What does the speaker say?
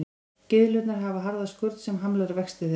Gyðlurnar hafa harða skurn sem hamlar vexti þeirra.